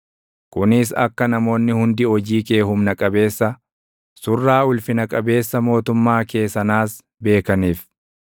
kunis akka namoonni hundi hojii kee humna qabeessa, surraa ulfina qabeessa mootummaa kee sanaas beekaniif.